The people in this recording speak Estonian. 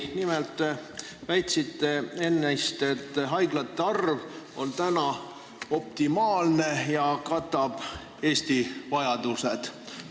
Nimelt väitsite ennist, et haiglate arv on optimaalne ja katab Eesti vajadused.